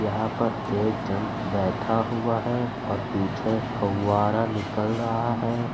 यहाँ पर एक जन बैठा हुआ है और पीछे फव्वारा निकल रहा है।